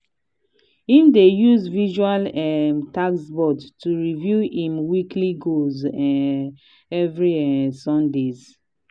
him dey use visual um task board to review him weekly goals um every um sundays.